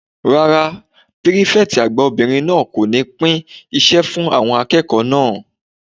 Rárá, pírífẹ̀tì àgbà obìnrin náà kò ní pín iṣẹ́ fún àwọn akẹ́kọ̀ọ́ náà